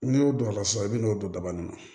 N'i y'o don a ka so i bɛ n'o don daba nɔ